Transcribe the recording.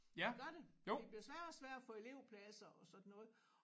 Det gør det. Det bliver sværere og sværere at få elevpladser og sådan noget